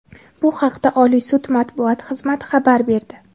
Bu haqda Oliy sud matbuot xizmati xabar berdi.